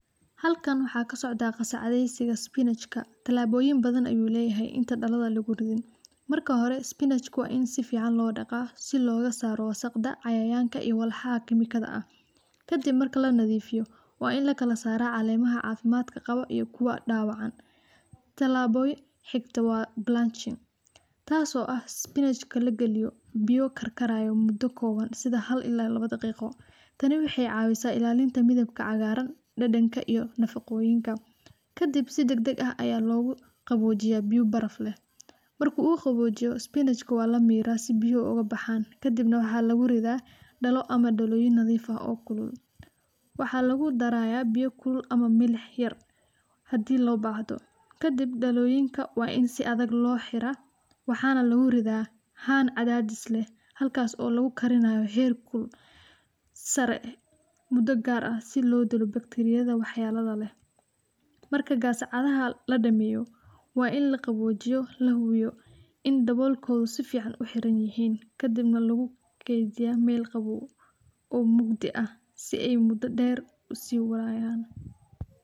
Halkan waxa kasocdaah qasacadeysiga spinachka, talaboyin bathan ayuu leyahay inta daladha luguridin. Marka hore spinachka wa in sifican lo daqaah, si logasaro wasaqda , cayayanka iyo walaxa kemikadha ah. Kadib marki lanadifiyo wa in lakasarah calemaha cafimadka qawo iyo kuwa dawacan . Talabada xigto wa blanching tas oo ah spinachka lagaliyo biyo karkarayo mudo koban sida hal ila iyo lawo daqiqo tani waxay cawisah ilalinta midabka cagaran, dadanka iyo nafaqoyinka, kadib si dagdag ah ayaa loguqawojiyaah biyo baraf leh , marki uu qawojiyo spinachka wa lamirah si biyaha ogabaxan , kadib waxaa luguridaah dalo ama daloyin nadif ah oo kulul, waxaa lugudaraya biyo kulul ama milix yar hadi lobahdo kadib daloyinka wa in si adag loxiraah, waxaa na luguridaah han cadadis leh halkas oo lugukarinayo her kulel sare eh mudo gar eh si lodilo bacteriyada wax yelada leh. Marka gascadaha ladameyo, wa in laqawojiyo lahuwiyo in dabolkodha sifican u xiranyihin, kadibna lugukediyaah mel qawow oo mugdi ah si ay mudo der usihayan.